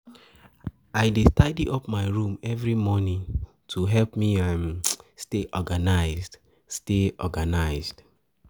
I dey tidy up my room every morning to help me stay organized. stay organized.